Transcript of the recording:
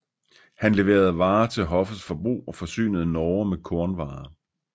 Han leverede varer til hoffets forbrug og forsynede Norge med kornvarer